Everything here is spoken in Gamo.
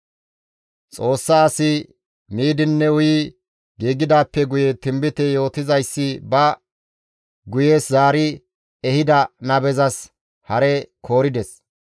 Xoossa asi miidinne uyi giigidaappe guye tinbite yootizayssi ba guye zaari ehida nabezas hare koorides.